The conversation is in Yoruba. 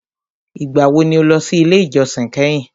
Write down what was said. Ìgbà wo ni o lọ sí ilé ìjósìn kẹ́hìn?